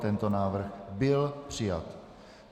Tento návrh byl přijat.